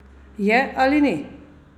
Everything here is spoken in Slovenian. Je ali ni?